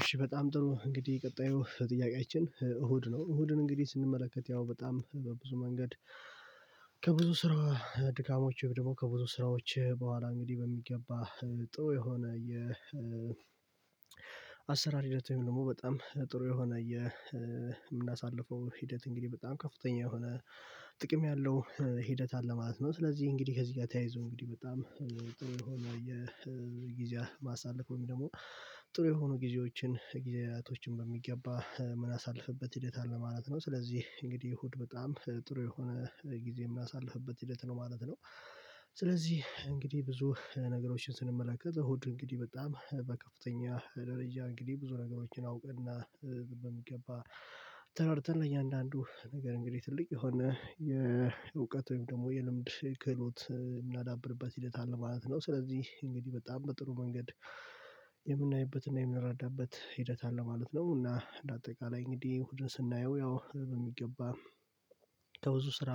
እሺ በጣም ጥሩ እንግዲህ ቀጣዩ ጥያቄያችን እሁድ ነው። እሁድን እንግዲህ ስንመለከት ያው በጣም በብዙ መንገድ ከብዙ ስራ ድካሞች ወይም ደግሞ ከብዙ ስራዎች በኋላ እንግዲህ በሚገባ ጥሩ የሆነ አሰራር ሂደት ደግሞ በጣም ጥሩ የሆነ የምናሳልፈው ሂደት እንግዲህ በጣም ከፍተኛ የሆነ ጥቅም ያለው ሂደት አለ ማለት ነው። ስለዚህ እንግዲህ ከዚህ ጋር ተያይዞ እንግዲህ በጣም ጥሩ የሆነ የጊዜ ማሳለፍ ወይም ደግሞ ጥሩ የሆኑ ጊዜዎችን ጊዜላቶችን በሚገባ ምናሳልፍበት ሂደት አለ ማለት ነው። ስለዚህ እንግዲህ እሁድ በጣም ጥሩ የሆነ ጊዜ የምናሳልፍበት ሂደት ነው ማለት ነው። ስለዚህ እንግዲህ ብዙ ነገሮችን ስንመለከት እሁድ እንግዲህ በጣም በከፍተኛ ደረጃ እንግዲህ ብዙ ነገሮችን አውቀንና በሚገባ ተረድተን እኛ አንዳንዱ ነገር እንግዲህ ትልቅ የሆነ የእውቀት ወይም ደግሞ የልምድ ክህሎት የምናዳብርበት ሂደት አለ ማለት ነው። ስለዚህ እንግዲህ በጣም በጥሩ መንገድ የምናይበትና የምንረዳበት ሂደት አለ ማለት ነው። እና እንደ አጠቃላይ እንግዲህ እሁድን ስናየው ያው ህልም የሚገባ ከብዙ ስራ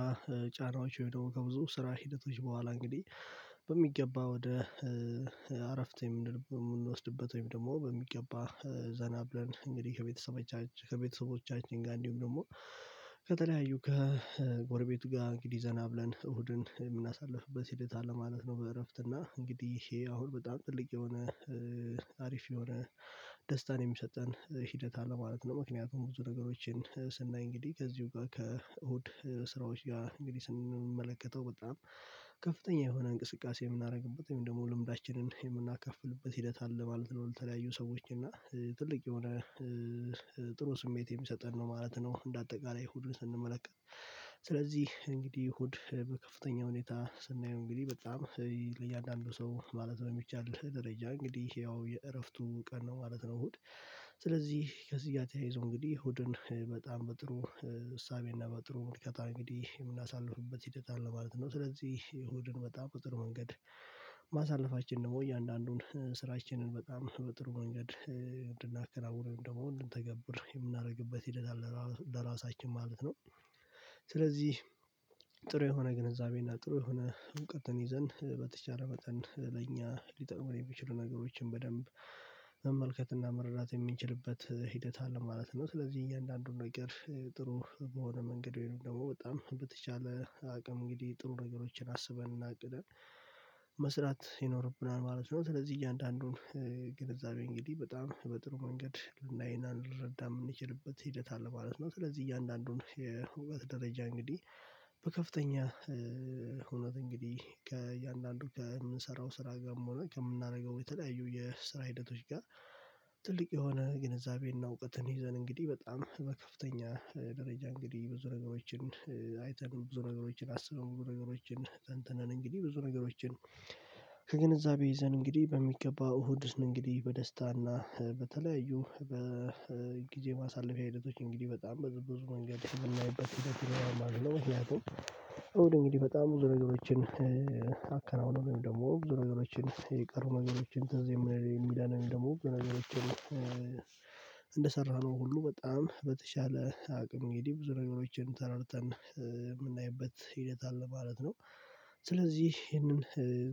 ጫናዎች ወይም ደግሞ ከብዙ ስራ ሂደቶች በኋላ እንግዲህ በሚገባ ወደ አረፍት የምንወስድበት ወይም ደግሞ በሚገባ ዘናብለን እንግዲህ ከቤተሰባችን ከቤተሰቦቻችን ጋር እንዲሁም ደግሞ ከተለያዩ ከጎረቤቱ ጋር እንግዲህ ዘና ብለን እሁድን የምናሳልፍበት ሂደት አለ ማለት ነው። በእረፍት እና እንግዲህ ይሄ አሁን በጣም ጥልቅ የሆነ አሪፍ የሆነ ደስታን የሚሰጠን ሂደት አለ ማለት ነው። ምክንያቱም ብዙ ነገሮችን ስናይ እንግዲህ ከዚሁ ጋር ከእሁድ ስራዎች ጋር እንግዲህ ስንመለከተው በጣም ከፍተኛ የሆነ እንቅስቃሴ የምናደርግበት ወይም ደግሞ ልምዳችንን የምናካፍልበት ሂደት አለ ማለት ነው። ለተለያዩ ሰዎች እና ትልቅ የሆነ ጥሩ ስሜት የሚሰጠን ነው ማለት ነው። እንደ አጠቃላይ እሁዱን ስንመለከት ስለዚህ እንግዲህ እሁድ በከፍተኛ ሁኔታ ስናየው እንግዲህ በጣም ለእያንዳንዱ ሰው ማለት ነው የሚቻል ደረጃ እንግዲህ ያው የእረፍቱ ቀን ነው ማለት ነው። እሁድ ስለዚህ ከዚህ ጋር ተያይዞ እንግዲህ እሁድን በጣም በጥሩ እሳቤና በጥሩ ምልከታ እንግዲህ የምናሳልፍበት ሂደት አለ ማለት ነው። ስለዚህ እሁድን በጣም በጥሩ መንገድ ማሳለፋችን ደግሞ እያንዳንዱን ስራችንን በጣም በጥሩ መንገድ እንድናከናውነው ወይም ደግሞ እንድንተገብር የምናደርግበት ሂደት አለ ለራሳችን ማለት ነው። ስለዚህ ጥሩ የሆነ ግንዛቤና ጥሩ የሆነ እውቀትን ይዘን በተቻለ መጠን ለእኛ ሊጠቅመን የሚችሉ ነገሮችን በደንብ መመልከትና መረዳት የምንችልበት ሂደት አለ ማለት ነው ስለዚህ እያንዳንዱን አንዳንዱን ነገር ጥሩ በሆነ መንገድ ወይም ደግሞ በጣም በተቻለ አቅም እንግዲህ ጥሩ ነገሮችን አስበን እናቅደን መስራት ይኖርብናል ማለት ነው። ስለዚህ እያንዳንዱን ግንዛቤው እንግዲህ በጣም በጥሩ መንገድ ልናይና ልንረዳ የምንችልበት ሂደት አለ ማለት ነው። ስለዚህ እያንዳንዱን የውበት ደረጃ እንግዲህ በከፍተኛ ሆኖ እንግዲህ ከእያንዳንዱ ከምንሰራው ስራ ጋርም ሆኖ ከምናደርገው የተለያዩ የስራ ሂደቶች ጋር ትልቅ የሆነ ግንዛቤን እውቀትን ይዘን እንግዲህ በጣም በከፍተኛ ደረጃ እንግዲህ ብዙ ነገሮችን አይተን ብዙ ነገሮችን አስበን ብዙ ነገሮችን ተንትነን እንግዲህ ብዙ ነገሮችን ከግንዛቤ ይዘን እንግዲህ በሚገባ እሁድን እንግዲህ በደስታ እና በተለያዩ በጊዜ ማሳለፊያ ሂደቶች እንግዲህ በጣም በብዙ መንገድ ስናይበት ይሄን አላማም አልለውም። እንግዲህ በጣም ነገሮችን አከናወነን ደግሞ ዝርዝሮችን የቀሩ ነገሮችን ትዝ የሚለይ የሚዳነን ደግሞ በነገራችን እንደሰራነው ሁሉ በጣም በተሻለ አቅም እንግዲህ ብዙ ነገሮችን ተረድተን የምናይበት ሂደት አለ ማለት ነው። ስለዚህ ይሄንን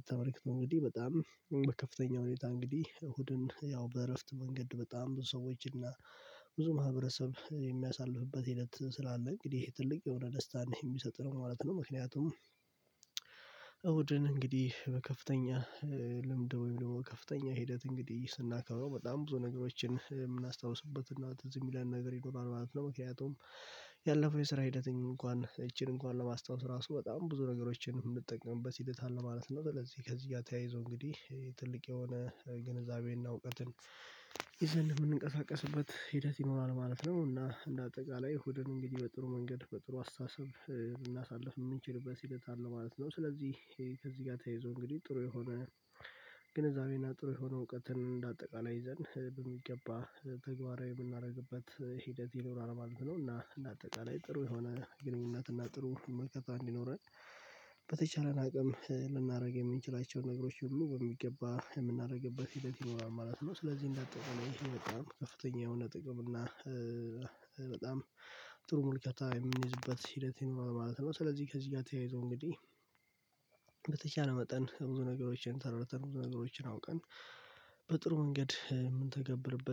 ተመልክቶ እንግዲህ በጣም በከፍተኛ ሁኔታ እንግዲህ እሁድን ያው በእረፍት መንገድ በጣም ብዙ ሰዎች እና ብዙ ማህበረሰብ የሚያሳልፍበት ሂደት ስላለ እንግዲህ ትልቅ የሆነ ደስታ የሚሰጥ ነው ማለት ነው። ምክንያቱም እሁድን እንግዲህ በከፍተኛ ልምድ ወይም ደግሞ ከፍተኛ ሂደት እንግዲህ ስናከብረው በጣም ብዙ ነገሮችን የምናስታውስበት እና እዚህ የሚለን ነገር ይኖራል ማለት ነው። ምክንያቱም ያለፈው የስራ ሂደተ ምንም እንኳን እቺን እንኳን ለማስታወስ ራሱ በጣም ብዙ ነገሮችን የምንጠቀምበት ሂደት አለ ማለት ነው። ስለዚህ ከዚህ ጋር ተያይዞ እንግዲህ ትልቅ የሆነ ግንዛቤና እውቀትን ይዘን የምንቀሳቀስበት ሂደት ይኖራል ማለት ነው። እና እንደ አጠቃላይ እሁድን እንግዲህ በጥሩ መንገድ በጥሩ አስተሳሰብ ልሳልፍ የምንችልበት ሂደት አለ ማለት ነው። ስለዚህ ከዚህ ጋር ተያይዞ እንግዲህ ጥሩ የሆነ ግንዛቤና ጥሩ የሆነ እውቀትን እንደ አጠቃላይ ይዘን በሚገባ ተግባራዊ የምናደርግበት ሂደት ይኖራል ማለት ነው። እና እንደ አጠቃላይ ጥሩ የሆነ ግንኙነት እና ጥሩ ምልከታ እንዲኖረን በተቻለን አቅም ልናደርግ የምንችላቸውን ነገሮች ሁሉ ወይ የሚገባ የምናደርግበት ሂደት ይኖራል ማለት ነው። ስለዚህ እንዳጠቀው ይሄ በጣም ከፍተኛ የሆነ ጥቅም እና በጣም ጥሩ ምልከታ የሚንይዝበት ሂደት ይኖራል ማለት ነው። ስለዚህ ከዚህ ጋር ተያይዞ እንግዲህ በተቻለ መጠን ብዙ ነገሮችን ተረድተን ብዙ ነገሮችን አውቀን በጥሩ መንገድ የምንተገብርበት